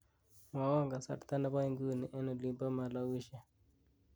mwowon kasarta nepo inguni en olimpo malausia